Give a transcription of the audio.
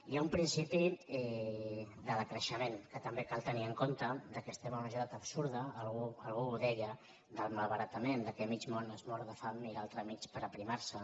hi ha un principi de decreixement que també cal tenir en compte que estem en una societat absurda algú ho deia del malbaratament que mig món es mor de fam i l’altre mig per aprimar se